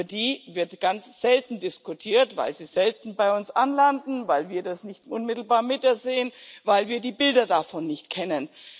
Über die Menschen wird ganz selten diskutiert, weil sie selten bei uns anlanden, weil wir das nicht unmittelbar sehen, weil wir die Bilder davon nicht kennen.